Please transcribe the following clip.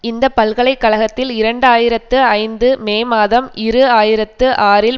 இந்த பல்கலைகக் கழகத்தில் இரண்டு ஆயிரத்து ஐந்து மே மாதம் இரு ஆயிரத்தி ஆறில்